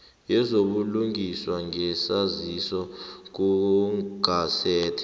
wezobulungiswa ngesaziso kugazethe